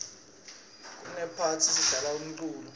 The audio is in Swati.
nakunephathi sidlala umculo